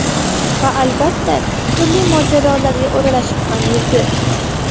Va, albatta, turli mojarolarga o‘ralashib ham yurdi.